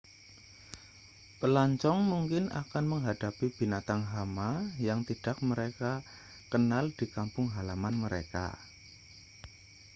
pelancong mungkin akan menghadapi binatang hama yang tidak mereka kenal di kampung halaman mereka